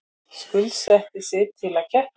Skuldsetti sig til að keppa